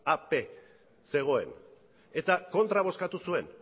ap zegoen eta kontra bozkatu zuen